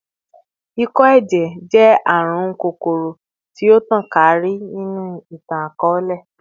Ikọ-ẹjẹ jẹ arun kokoro-arun ti o tan kaakiri ninu itan-akọọlẹ